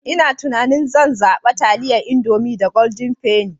Ina tunanin zan zaɓa taliyan Indomie da Golden penny.